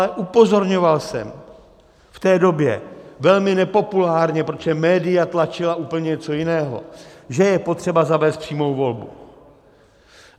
Ale upozorňoval jsem v té době velmi nepopulárně, protože média tlačila úplně něco jiného, že je potřeba zavést přímou volbu.